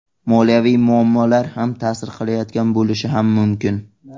Moliyaviy muammolar ham ta’sir qilayotgan bo‘lishi ham mumkin.